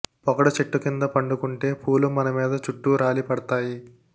పొగడ చెట్టు కింద పండుకుంటే పూలు మన మీద చుట్టూ రాలి పడతయి